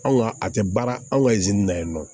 Anw ka a tɛ baara an ka na yen nɔ